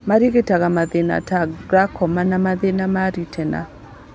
Marigitaga mathĩna ta glaucoma, na mathĩna ma retina